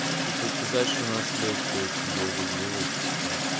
типа сказать что у нас лекция очень долго длилась и все